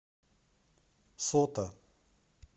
сота